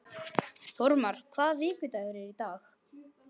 Þórmar, hvaða vikudagur er í dag?